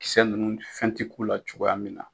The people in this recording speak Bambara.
Kisɛ ninnu fɛn ti k'u la cogoya min na.